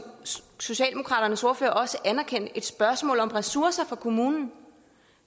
socialdemokraternes ordfører også anerkendte et spørgsmål om ressourcer for kommunen